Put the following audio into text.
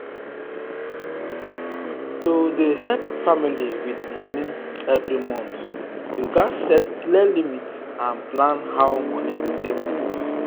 to dey help family with money every month you gats set clear limit and plan how money go take move.